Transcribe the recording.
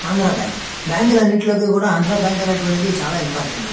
Andhra bank bank లో అన్నిట్లోకి కూడా ఆంద్ర బ్యాంక్ అనేటువంటిడి చాలా ఇంపార్టంట్ .